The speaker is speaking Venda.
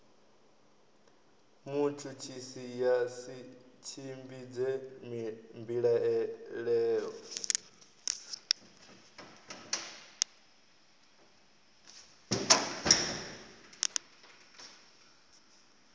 mutshutshisi ya si tshimbidze mbilaelo